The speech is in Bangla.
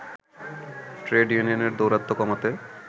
ট্রেড ইউনিয়নের দৌরাত্ম্য কমাতে